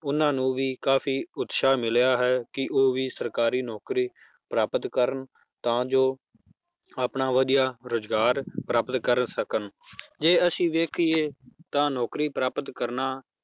ਉਹਨਾਂ ਨੂੰ ਵੀ ਕਾਫ਼ੀ ਉਤਸ਼ਾਹ ਮਿਲਿਆ ਹੈ ਕਿ ਉਹ ਵੀ ਸਰਕਾਰੀ ਨੌਕਰੀ ਪ੍ਰਾਪਤ ਕਰਨ ਤਾਂ ਜੋ ਆਪਣਾ ਵਧੀਆ ਰੁਜ਼ਗਾਰ ਪ੍ਰਾਪਤ ਕਰ ਸਕਣ ਜੇ ਅਸੀਂ ਵੇਖੀਏ ਤਾਂ ਨੌਕਰੀ ਪ੍ਰਾਪਤ ਕਰਨਾ